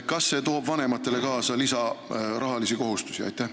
Kas see toob vanematele kaasa rahalisi lisakohustusi?